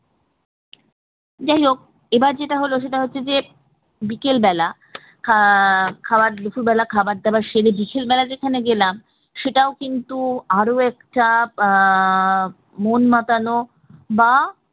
যাই হোক এবার যেটা হলো সেটা হচ্ছে যে বিকেল বেলা আহ খাবার দুপুরবেলা খাবার দাবার সেরে বিকেলবেলা যেখানে গেলাম সেটাও কিন্তু আরও একটা আহ মন মাতানো বা